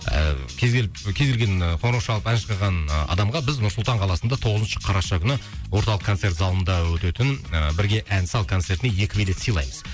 ыыы кез келген ыыы қоңырау шалып ән шырқаған ыыы адамға біз нұр сұлтан қаласында тоғызыншы қарашада күні орталық концерт залында өтетін ыыы бірге ән сал концертіне екі билет сыйлаймыз